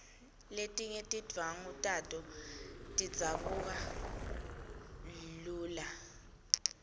letinye tindvwangu tato tidzabuka lula